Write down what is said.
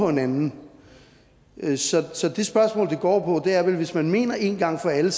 en anden så det spørgsmålet går på er hvis man mener en gang for alle